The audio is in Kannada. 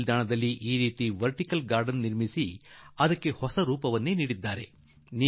ರೈಲ್ವೇ ಸ್ಟೇಷನ್ ಬಳಿ ಪ್ಲಾಸ್ಟಿಕ್ ಸೀಸೆಗಳಲ್ಲಿ ಇವನ್ನು ಮಾಡಿ ಒಂದು ಹೊಸ ರೂಪವನ್ನೇ ಕೊಟ್ಟುಬ್ಟಿಟ್ಟಿದ್ದಾರೆ